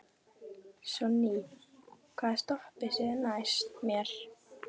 Sonný, hvaða stoppistöð er næst mér?